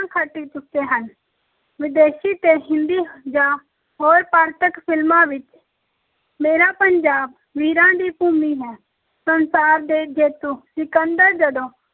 ਖੱਟ ਚੁੱਕੇ ਹਨ, ਵਿਦੇਸ਼ੀ ਤੇ ਹਿੰਦੀ ਜਾਂ ਹੋਰ ਪਾਂਤਕ ਫ਼ਿਲਮਾਂ ਵਿੱਚ ਮੇਰਾ ਪੰਜਾਬ ਵੀਰਾਂ ਦੀ ਭੂਮੀ ਹੈ, ਸੰਸਾਰ ਦੇ ਜੇਤੂ ਸਿਕੰਦਰ ਜਦੋਂ